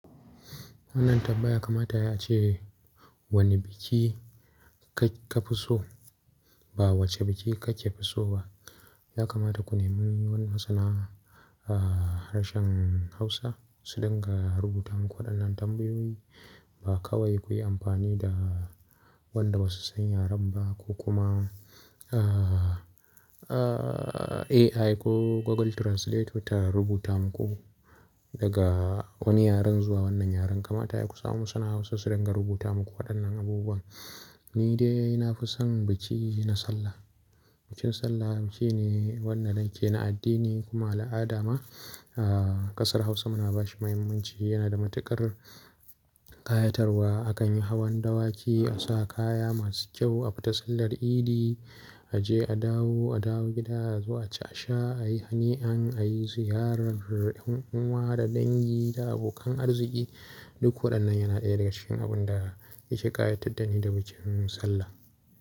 Wannan tambaya kamata yayi ace wane biki ka fi so ba wace biki kake fi so ba. Ya kamata ku nemi wani masana a harshen Hausa su dinga rubuta muku waɗannan tambayoyi. Ba kawai kuyi amfani da waɗanda ba su san yaren ba ko kuma, a, a, AI ko Google Translator ta rubuta muku daga wani yaren zuwa wannan yaren. Kamata ya ku samu masana Hausa su ringa rubuta muku waɗannan abubuwan. Ni dai na fi son biki na Sallah. Bikin Sallah biki shine wannan dake na addini kuma al'ada ma a kasar Hausa muna ba shi muhimmanci. Yana da matuƙar ƙayatarwa. Akan yi hawan dawaki, a sa kaya masu kyau, a fita sallar idi, a je a dawo, a dawo gida zuwa a ci a sha, a yi hani an, a yi ziyarar ƴan uwa da dangi da abokan arziki. Duk waɗannan yana ɗaya daga cikin abun da yake ƙayatar da ni da bikin Sallah.